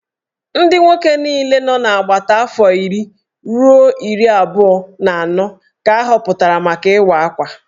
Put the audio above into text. Ndị nwoke niile nọ n'agbata afọ iri ruo iri abụọ na anọ ka ahọpụtara maka Ịwa Akwa